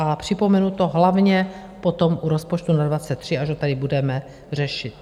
A připomenu to hlavně potom u rozpočtu na 2023, až ho tady budeme řešit.